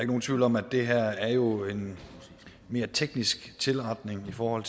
nogen tvivl om at det her jo er en mere teknisk tilretning for